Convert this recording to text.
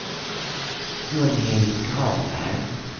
Gunhild Granberg